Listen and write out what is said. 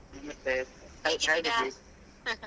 ನಮಸ್ತೆ ಹ್ಯಾಗಿದ್ದೀ?